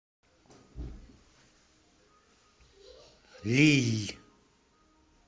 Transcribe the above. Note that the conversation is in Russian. лилль